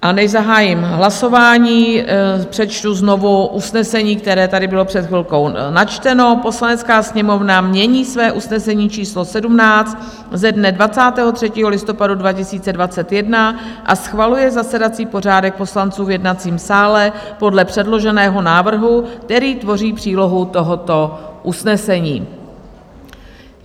A než zahájím hlasování, přečtu znovu usnesení, které tady bylo před chvilkou načteno: "Poslanecká sněmovna mění své usnesení číslo 17 ze dne 23. listopadu 2021 a schvaluje zasedací pořádek poslanců v jednacím sále podle předloženého návrhu, který tvoří přílohu tohoto usnesení."